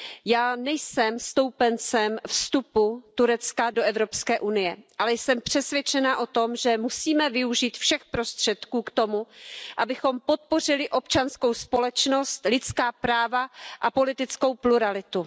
Já nejsem stoupencem vstupu Turecka do Evropské unie, ale jsem přesvědčena o tom, že musíme využít všech prostředků k tomu, abychom podpořili občanskou společnost, lidská práva a politickou pluralitu.